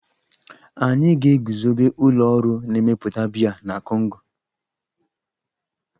Anyị ga-eguzobe ụlọ ọrụ na-emepụta biya na Kongo.